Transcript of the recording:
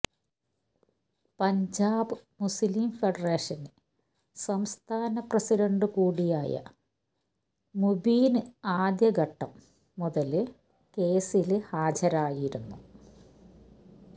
പഞ്ചാബ് മുസ്ലിം ഫെഡറേഷന് സംസ്ഥാന പ്രസിഡണ്ട് കൂടിയായ മുബീന് ആദ്യ ഘട്ടം മുതല് കേസില് ഹാജരായിരുന്നു